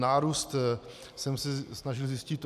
Nárůst jsem se snažil zjistit.